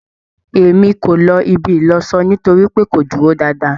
E mí ko ló ibi ìlọṣọ nítorípé kò dúró dáadáa